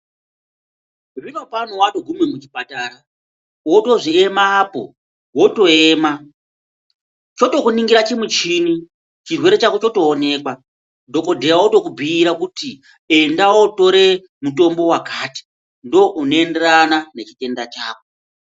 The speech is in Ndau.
Zvinopano watoguma muchipatara wotozi ema apo wotoema, chotokuningira chimuchini chirwere chako chotoonekwa, dhokodheya otokubhuira kuti enda wootore mutombo wakati ndounoenderana nechitenda chako.